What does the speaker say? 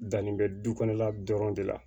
Danni bɛ du kɔnɔ de la